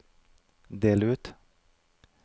del ut